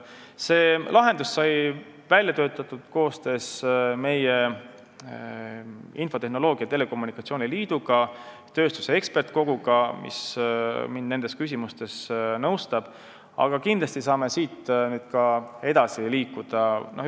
See lahendus sai välja töötatud koostöös meie infotehnoloogia ja telekommunikatsiooni liiduga, tööstuse ekspertide koguga, kes mind nendes küsimustes nõustab, aga kindlasti saame siit ka nüüd edasi liikuda.